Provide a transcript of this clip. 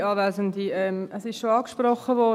Es wurde schon angesprochen: